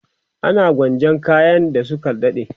ana gwanjan kayan da Suka dade